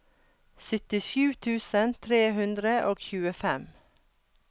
syttisju tusen tre hundre og tjuefem